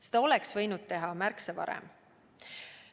Seda oleks võinud teha märksa varem.